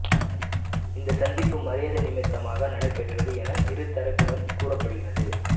இந்த சந்திப்பு மரியாதை நிமித்தமாக நடைபெற்றது என இரு தரப்பிலும் கூறப்படுகிறது